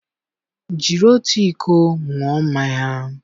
jiri otu iko ṅụọ mmanya!